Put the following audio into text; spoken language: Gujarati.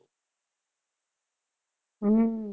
હમ